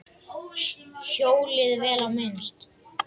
Hjólið, vel á minnst.